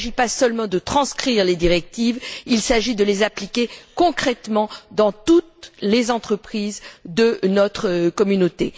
Il ne s'agit pas seulement de transcrire les directives, il s'agit de les appliquer concrètement dans toutes les entreprises de notre Communauté.